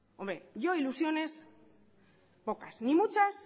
hombre yo ilusiones pocas ni muchas